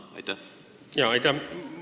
Aitäh!